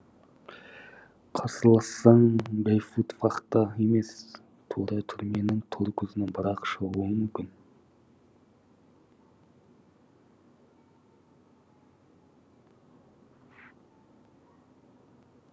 қарсылассаң гауфтвахта емес тура түрменің тор көзінен бір ақ шығуың мүмкін